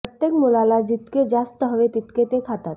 प्रत्येक मुलाला जितके जास्त हवे तितके ते खातात